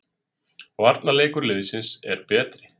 Varnarleikur liðsins er betri